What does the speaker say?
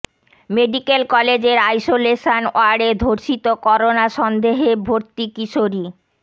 medical কলেজের isolation ওয়ার্ডে ধর্ষিত করোনা সন্দেহে ভর্তি কিশোরী